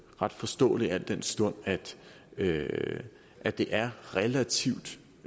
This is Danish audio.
ret forståeligt al den stund at det at det er relativt